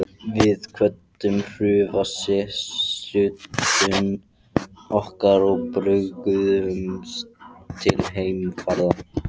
Við kvöddum hrjúfa sessunautinn okkar og bjuggumst til heimferðar.